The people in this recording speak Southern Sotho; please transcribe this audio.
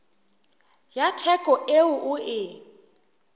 ya theko eo o e